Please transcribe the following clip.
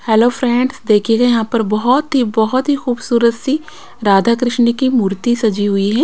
Hello friends देखिएगा यहां पर बहुत ही बहुत ही खूबसूरत सी राधा कृष्ण की मूर्ति सजी हुई है।